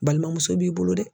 Balimamuso b'i bolo dɛ